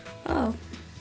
ó